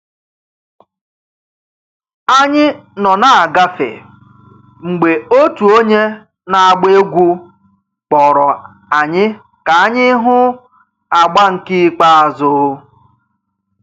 Anyị nọ na-agafe, mgbe otu onye na-agba egwú kpọrọ anyị ka anyị hụ agba nke ikpeazụ